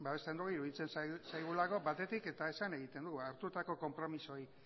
babesten dugu eta iruditzen zaigulako batetik eta esan egiten dugu hartutako konpromisoei